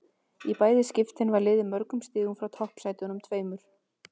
Í bæði skiptin var liðið mörgum stigum frá toppsætunum tveimur.